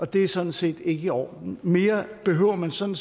det er sådan set ikke i orden mere behøver man sådan